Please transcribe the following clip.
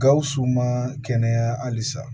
Gawusu ma kɛnɛya halisa